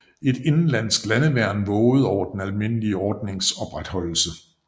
Et indenlandsk landeværn vågede over den almindelige ordnings opretholdelse